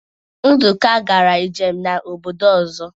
Nduka gara njem na obodo ozo